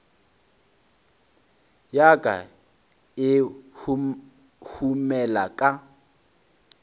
ya ka e huhumela ka